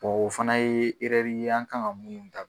o fana ye ye an kan ŋa dab